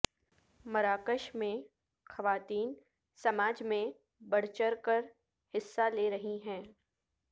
مراکش میں خواتین سماج میں بڑھ چڑھ کر حصہ لے رہی ہیں